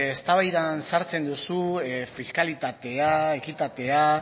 eztabaidan sartzen duzu fiskalitatea ekitatea